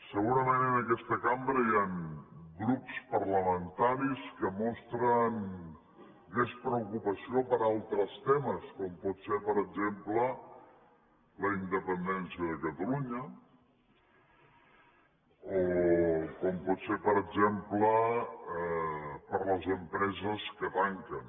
segurament en aquesta cambra hi han grups parlamentaris que mostren més preocupació per altres temes com pot ser per exemple la independència de catalunya o com pot ser per exemple per les empreses que tanquen